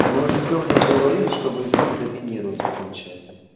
мы уже с лёхой говорили что войс-бот доминирует в этом чате